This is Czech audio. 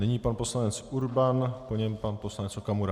Nyní pan poslanec Urban, po něm pan poslanec Okamura.